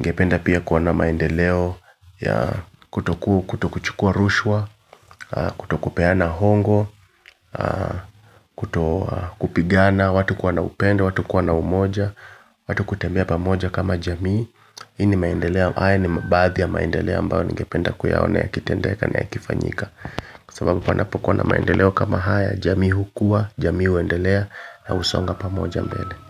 ningependa pia kuona maendeleo ya kutoku, kutochukua rushwa, kutokupeana hongo. Kutokupigana, watu kuona upendo, watu kuwa na umoja, watu kutembea pamoja kama jamii hii ni maendeleo, haya ni mabathi ya maendeleo ambayo ningependa kuyaona ya kitendeka ni ya kifanyika kwa sababu pandapokuwa na maendeleo kama haya jamii hukua, jamii huendelea na husonga pamoja mbele.